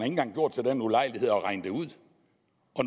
engang gjort sig den ulejlighed at regne det ud